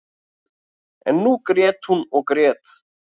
En nú grét hún og grét.